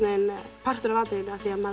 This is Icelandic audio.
partur af atriðinu af því maður